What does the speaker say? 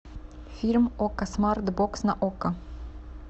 фильм окко смарт бокс на окко